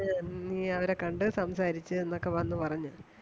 നീ അവരെ കണ്ട് സംസാരിച്ച് എന്നൊക്കെ വന്ന് പറഞ്ഞു.